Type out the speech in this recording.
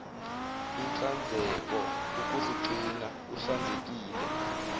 inhlanzeko ukuzigcina uhlanzekile